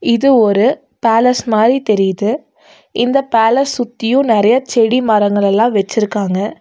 இது ஒரு பேலஸ் மாறி தெரிது இந்த பேலஸ் சுத்தியும் நெறைய செடி மரங்கள் எல்லாம் வச்சிருக்காங்க.